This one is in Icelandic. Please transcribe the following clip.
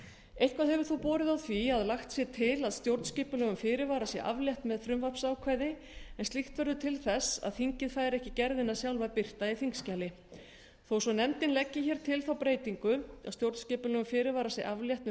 eitthvað hefur þó borið á því að lagt sé til að stjórnskipulegum fyrirvara sé aflétt með frumvarpsákvæði en slíkt verður til þess að þingið fær ekki gerðina sjálfa birta í þingskjali þó svo að nefndin leggi hér til þá breytingu að stjórnskipulegum fyrirvara sé aflétt